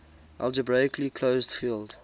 algebraically closed field